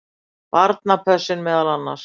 Barnapössun meðal annars.